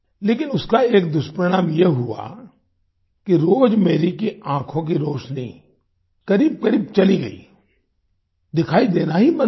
लेकिन उसका एक दुष्परिणाम ये हुआ कि रोजमेरी की आंखों की रोशनी करीबकरीब चली गई दिखाई देना ही बंद हो गया